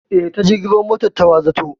Eh, ta jirgin ruwa motar ta wa za ta zo?